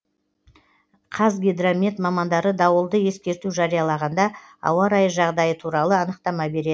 қазгидромет мамандары дауылды ескерту жариялағанда ауа райы жағдайы туралы анықтама береді